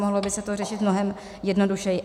Mohlo by se to řešit mnohem jednodušeji.